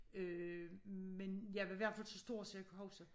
Øh men jeg var i hvert fald så stor så jeg kunne huske